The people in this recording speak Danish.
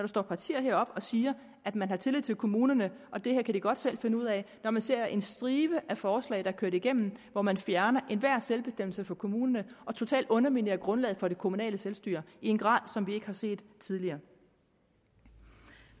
står partier heroppe og siger at man har tillid til kommunerne og det her kan de godt selv finde ud af når man ser en stribe forslag der er kørt igennem hvor man fjerner enhver selvbestemmelse fra kommunerne og totalt underminerer grundlaget for det kommunale selvstyre i en grad som vi ikke har set tidligere